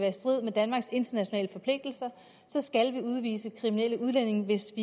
i strid med danmarks internationale forpligtelser skal vi udvise kriminelle udlændinge hvis